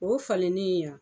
O falennen wo